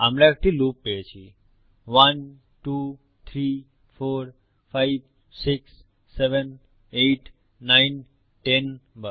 আমরা একটি লুপ পেয়েছি 12345678910 বার